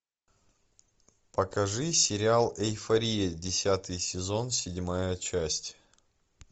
покажи сериал эйфория десятый сезон седьмая часть